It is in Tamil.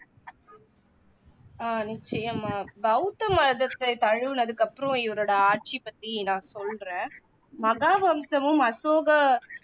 அஹ் நிச்சயமா பௌத்த மதத்தை தழுவுனதுக்கு அப்பறாம் இவரோட ஆட்சி பத்தி நான் சொல்றேன் மகாவம்சமும் அசோக